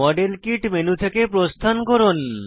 model kit menu থেকে প্রস্থান করুন